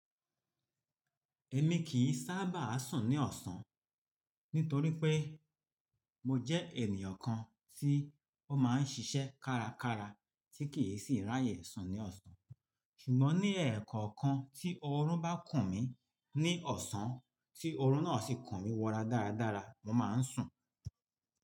Ẹ̀ mi kì í sábà sùn ní ọ̀sán nítorí pé mo jẹ́ ènìyàn kan tí ó máa ń ṣiṣẹ́ kárakára tí kì í sì ráyè sùn ní ọ̀sán. Ṣùgbọ́n ní ẹ̀ẹ̀kọ̀kan tí oorun bá kùn mí ní ọ̀sán, tí oorun náà sì kùn mí wọ́ra dáradára, mo máa ń sùn.